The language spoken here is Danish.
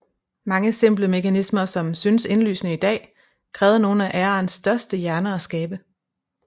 Mange simple mekanismer som synes indlysende i dag krævede nogle af æraens største hjerner at skabe